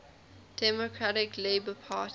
democratic labour party